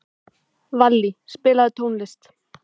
Vallý, spilaðu tónlist.